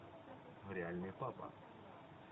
реальный папа